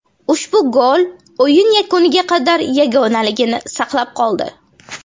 Ushbu gol o‘yin yakuniga qadar yagonaligini saqlab qoldi.